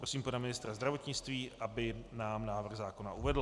Prosím pana ministra zdravotnictví, aby nám návrh zákona uvedl.